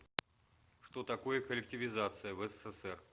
что такое коллективизация в ссср